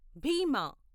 భీమా